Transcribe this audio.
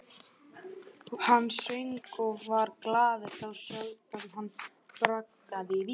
Hann söng og var glaður, þá sjaldan hann bragðaði vín.